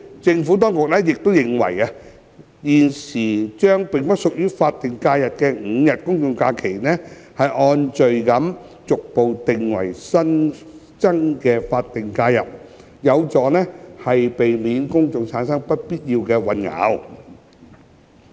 政府當局亦認為，將現時並不屬於法定假日的5日公眾假期按序逐步訂為新增的法定假日，有助避免公眾產生不必要的混淆。